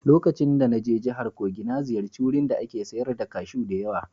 Lokacin da na je jihar Kogi na ziyarci wurin da ake sayar da kashu da yawa